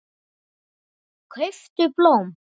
Kauptu blóm.